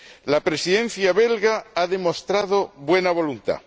La Presidencia belga ha demostrado buena voluntad.